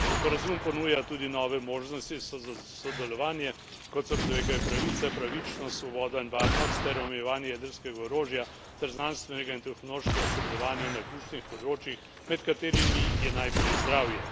Sporazum ponuja tudi nove možnosti za sodelovanje, kot so človekove pravice, pravičnost, svoboda in varnost ter omejevanje jedrskega orožja, ter znanstvenega in tehnološkega sodelovanja na ključnih področjih, med katerimi je najprej zdravje.